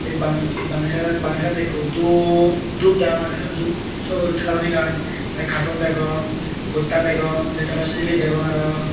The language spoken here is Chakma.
bangedi bangedi saidot bangedi saidot ikko duo dup dram agey syot o syot olottey daguni ekkan tey katon degong botta degong detolo sijli degong aro.